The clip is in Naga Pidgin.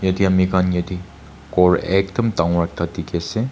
itia ami khan yeti kor ekdum dangor ekta dikhi ase.